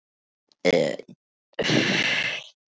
Ég get ekki sleikt salta húð þína hér.